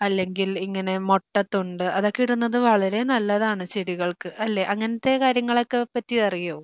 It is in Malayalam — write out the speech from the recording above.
അല്ലെങ്കിൽ ഇങ്ങനെ മൊട്ട തൊണ്ട് അതൊക്കെ ഇടുന്നത് വളരെ നല്ലതാണ് ചെടികൾക്ക് അല്ലേ അങ്ങനത്തെ കാര്യങ്ങളെ ക്കെ പ്പറ്റി അറിയോ?